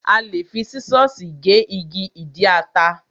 A lè fi sísọ̀sì gé igi ìdí ata.